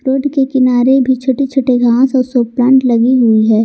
Road के किनारे भी छोटे छोटे घास और शो प्लांट लगी हुई है।